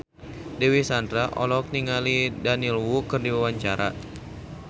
Dewi Sandra olohok ningali Daniel Wu keur diwawancara